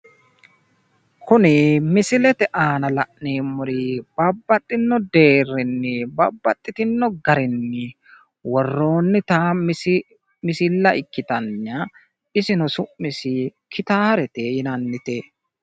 Kuni misilete aana la'neemmori babbaxino deerrinni babbaxitinno garinni worroonnita misilla ikkitanna isino su'misi gitaarete yinannite.